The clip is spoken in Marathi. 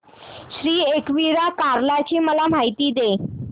श्री एकविरा कार्ला ची मला माहिती दे